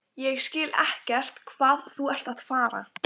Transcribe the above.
Ég skil ekkert hvað þú ert að fara.